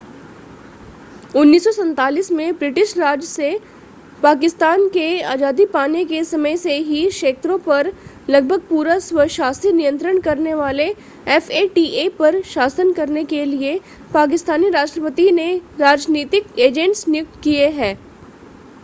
1947 में ब्रिटिश राज से पाकिस्तान के आज़ादी पाने के समय से ही क्षेत्रों पर लगभग पूरा स्वशासी नियंत्रण करने वाले fata पर शासन करने के लिए पाकिस्तानी राष्ट्रपति ने राजनीतिक एजेंट्स नियुक्त किए हैं